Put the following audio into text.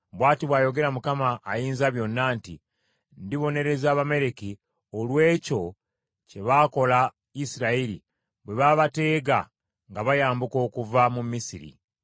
Bw’ati bw’ayogera Mukama Ayinzabyonna nti, ‘Ndibonereza Abamaleki olw’ekyo kye baakola Isirayiri bwe baabateega nga bayambuka okuva mu Misiri.